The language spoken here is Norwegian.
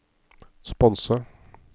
sponse